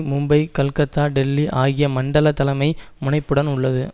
மும்பை கல்கத்தா டெல்லி ஆகிய மண்டல தலைமை முனைப்புடன் உள்ளது